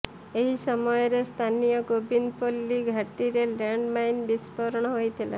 ଏହି ସମୟରେ ସ୍ଥାନୀୟ ଗୋବିନ୍ଦପଲ୍ଲୀ ଘାଟିରେ ଲ୍ୟାଣ୍ଡମାଇନ ବିସ୍ଫୋରଣ ହୋଇଥିଲା